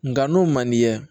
Nga n'o man d'i ye